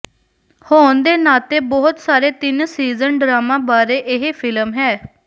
ਹੋਣ ਦੇ ਨਾਤੇ ਬਹੁਤ ਸਾਰੇ ਤਿੰਨ ਸੀਜ਼ਨ ਡਰਾਮਾ ਬਾਰੇ ਇਹ ਫਿਲਮ ਹੈ